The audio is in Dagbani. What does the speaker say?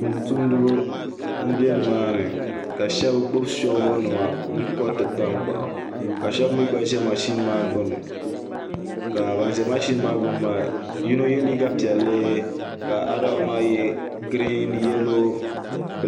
Tumtumdiba n bɛ nimaani ka shab gbubi soobuli nima n koriti tankpaɣu ka shab mii gba ʒɛ mashin maa gbuni ka ban ʒɛ mashin maa gbuni maa yino yɛ liiga piɛlli ka ada waan maa yɛ giriin yɛlo